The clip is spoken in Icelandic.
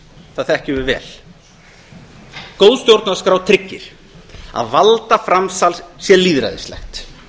það þekkjum við vel góð stjórnarskrá tryggir að valdaframsal sé lýðræðislegt